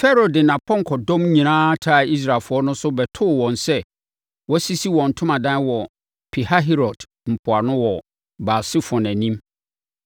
Farao de nʼapɔnkɔdɔm nyinaa taa Israelfoɔ no so bɛtoo wɔn sɛ wɔasisi wɔn ntomadan wɔ Pihahirot mpoano wɔ Baal-Sefon anim.